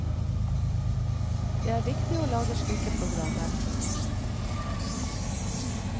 Det er viktig å lage slike programmer.